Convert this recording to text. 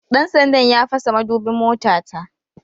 Dan sandan ya fasa madubin motata